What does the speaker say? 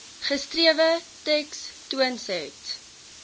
geskrewe teks toonset